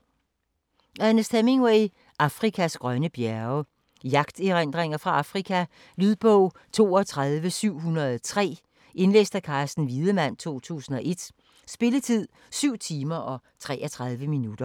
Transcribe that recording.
Hemingway, Ernest: Afrikas grønne bjerge Jagterindringer fra Afrika. Lydbog 32703 Indlæst af Carsten Wiedemann, 2001. Spilletid: 7 timer, 33 minutter.